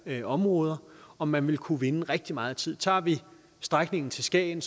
her områder og man vil kunne vinde rigtig meget tid tager vi strækningen til skagen